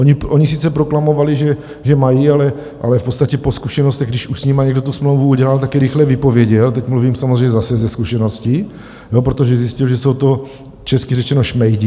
Oni sice proklamovali, že mají, ale v podstatě po zkušenostech, když už s nimi někdo tu smlouvu udělal, tak ji rychle vypověděl - teď mluvím samozřejmě zase ze zkušeností - protože zjistil, že jsou to česky řečeno šmejdi.